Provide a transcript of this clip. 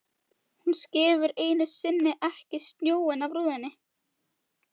Hún skefur ekki einu sinni snjóinn af rúðunum!